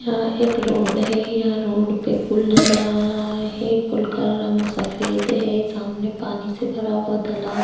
यहाँ एक रोड है रोड पर पुल नज़र आ रहा है पूल का रंग सफेद है सामने पानी से भरा हुआ तालाब है।